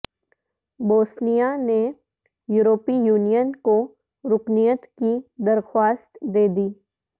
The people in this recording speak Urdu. بوسنیا نے یورپی یونین کو رکنیت کی درخواست دیدی